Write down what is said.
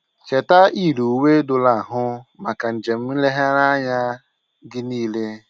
Cheta iyiri uwe doro ahụ maka njem nlegharị anya gị niile.